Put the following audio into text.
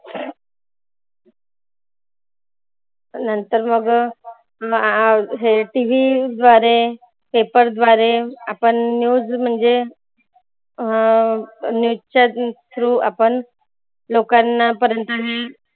नंतर मग TV द्वारे, paper द्वारे आपण news म्हणजे अं news च्या through आपण लोकांना पर्यंत हे